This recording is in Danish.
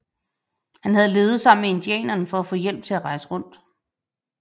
Han havde levet sammen med indianerne for at få hjælp til at rejse rundt